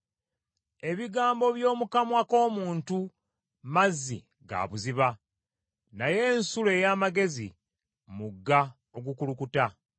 Ebigambo by’omu kamwa k’omuntu mazzi ga buziba, naye ensulo ey’amagezi mugga ogukulukuta.